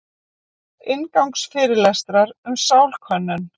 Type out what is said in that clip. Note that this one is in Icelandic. Inngangsfyrirlestrar um sálkönnun.